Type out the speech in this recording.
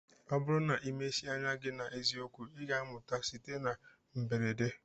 Ọ bụrụ na ị mechie anya gị na eziokwu, ị ga-amụta site na mberede.